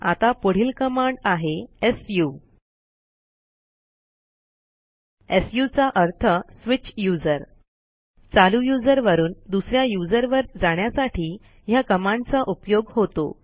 आता पुढील कमाड आहे सु सु चा अर्थswitch यूझर चालू यूझर वरून दुस या यूझर वर जाण्यासाठी ह्या कमांडचा उपयोग होतो